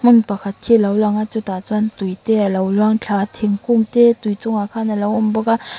hmun pakhat hi a lo lang a chutah chuan tuite a lo luangthla a thingkung te tui chungah khan a lo awm bawk a.